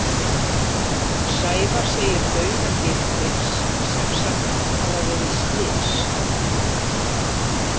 Sævar segir dauða Geirfinns sem sagt hafa verið slys.